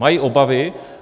Mají obavy.